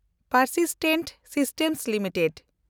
persistent System limited